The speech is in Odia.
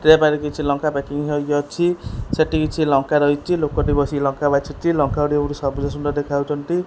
ଟ୍ରେ ପାଖରେ କିଛି ଲଙ୍କା ପ୍ୟାକିଂ ହୋଇକି ଅଛି। ସେଠି କିଛି ଲଙ୍କା ରହିଚି। ଲୋକଟି ବସି ଲଙ୍କା ବାଛୁଚି ଲଙ୍କା ଗୁଡ଼ିକ ବୋହୁତ୍ ସବୁଜ ସୁନ୍ଦର୍ ଦେଖାହୋଉଚନ୍ତି।